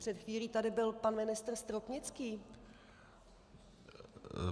Před chvílí tady byl pan ministr Stropnický.